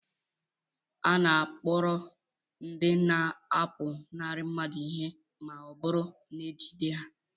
A na-akpụrụ ndị na-apụnara mmadụ ihe ma ọ bụrụ na ejide ha